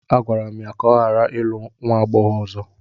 A gwara m ya ka ọ ghara ịlụ nwa agbọghọ ọzọ!